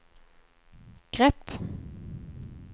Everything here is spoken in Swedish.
grepp